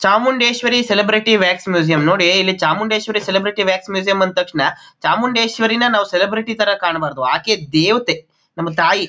Chamundeshwari celebrity wax museum ನೋಡಿ ಇಲ್ಲಿ Chamundeshwari celebrity wax museum ಅಂದ ತಕ್ಷಣ ಚಾಮುಂಡೇಶ್ವರಿನ ನಾವು ಸೆಲೆಬ್ರಿಟಿ ತರ ಕಾಣಬಾರದು ಆಕೆ ದೇವತೇ ನಮ್ಮ ತಾಯಿ.